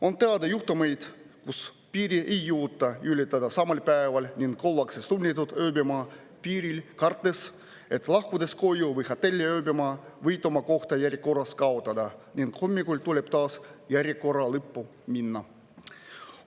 On teada juhtumeid, kus piiri ei jõuta ületada samal päeval ning ollakse sunnitud ööbima piiril, kartes, et lahkudes koju või hotelli ööbima, võite oma koha järjekorras kaotada ning hommikul tuleb taas järjekorra lõppu minna.